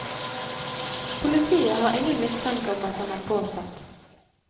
Politiet har ingen mistanke om at den er påsatt.